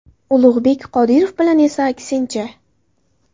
Ulug‘bek Qodirov bilan esa aksincha.